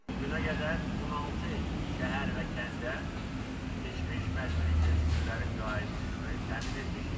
Bu günə qədər 16 şəhər və kəndə keçmiş məcburi köçkünlərin qayıdışını təmin etmişik.